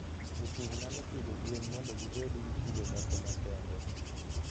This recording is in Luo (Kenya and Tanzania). Jopur nyalo pidho gwen mondo gibed gi kido moko makende.